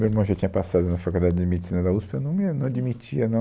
Meu irmão já tinha passado na Faculdade de Medicina da USP, eu não ia, não admitia, não...